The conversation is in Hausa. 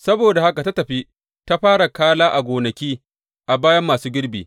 Saboda haka ta tafi ta fara kala a gonaki a bayan masu girbi.